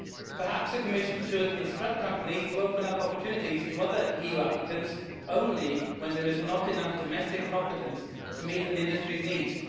Perhaps the Commission should instruct companies to open up opportunities to other EU applicants only when there is not enough domestic competence to meet an industry's needs.